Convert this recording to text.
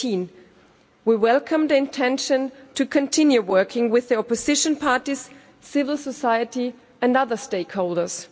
18. We welcome the intention to continue working with the opposition parties, civil society and other stakeholders.